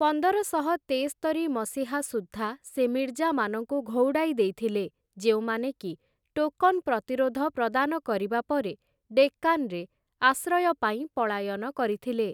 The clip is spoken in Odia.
ପନ୍ଦରଶହ ତେସ୍ତରି ମସିହା ସୁଦ୍ଧା, ସେ ମିର୍ଜାମାନଙ୍କୁ ଘଉଡ଼ାଇ ଦେଇଥିଲେ, ଯେଉଁମାନେକି ଟୋକନ୍ ପ୍ରତିରୋଧ ପ୍ରଦାନ କରିବା ପରେ ଡେକାନ୍ ରେ ଆଶ୍ରୟ ପାଇଁ ପଳାୟନ କରିଥିଲେ ।